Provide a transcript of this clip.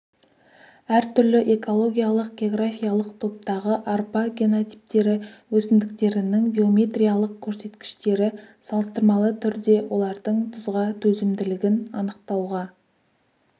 әртүрлі экологиялық-географиялық топтағы арпа генотиптері өсімдіктерінің биометриялық көрсеткіштері салыстырмалы түрде олардың тұзға төзімділігін анықтауға